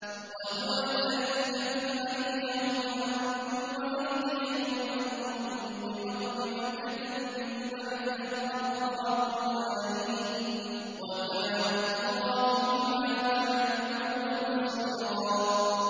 وَهُوَ الَّذِي كَفَّ أَيْدِيَهُمْ عَنكُمْ وَأَيْدِيَكُمْ عَنْهُم بِبَطْنِ مَكَّةَ مِن بَعْدِ أَنْ أَظْفَرَكُمْ عَلَيْهِمْ ۚ وَكَانَ اللَّهُ بِمَا تَعْمَلُونَ بَصِيرًا